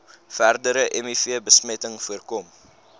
verdere mivbesmetting voorkom